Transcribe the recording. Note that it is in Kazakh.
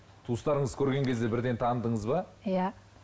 туыстарыңызды көрген кезде бірден таныдыңыз ба иә